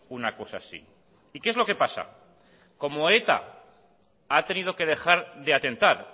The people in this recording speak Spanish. una cosa así y qué es lo que pasa como eta ha tenido que dejar de atentar